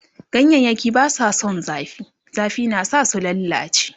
ganyayaki Basu San zafi, zafi na sa su lallace